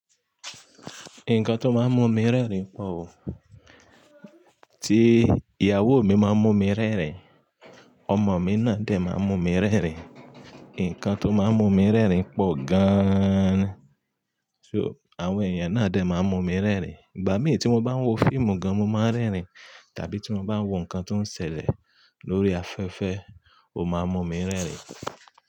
Nǹkan tó máa ń mú mi rẹ́rìn pọ̀ ò. Tí ìyàwó mi máa mú mi rẹ́rìn, ọmọ mi náà dẹ̀ máa mú mi rẹ́rìn. Nǹkan tó máa ń mú mi rẹ́rìn pọ̀ gan-an ni So, àwọn èèyàn náà dẹ̀ máa mú mi rẹ́rìn. Ìgbà mìí tí mo bá ń wo fíìmù gan-an mo máa ń rẹ́rìn. Tàbí tí mo bá ń wo nǹkan tó ń ṣẹlẹ̀ lórí afẹ́fẹ́ ó máa mú mi rẹ́rìn.